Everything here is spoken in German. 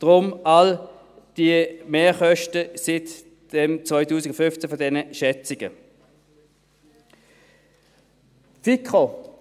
Deshalb all diese Mehrkosten seit den Schätzungen von 2015.